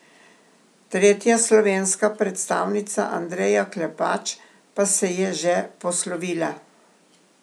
Tretja slovenska predstavnica Andreja Klepač pa se je že poslovila.